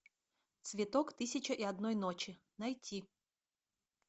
цветок тысяча и одной ночи найти